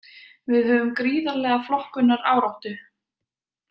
Við höfum gríðarlega flokkunaráráttu.